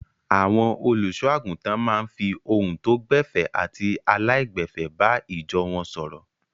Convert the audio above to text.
Àwọn olùṣọ́-àgùntàn máa ń fi ohun tó gbẹ̀fẹ̀ àti aláìgbẹ̀fẹ̀ bá ìjọ wọn sọ̀rọ̀.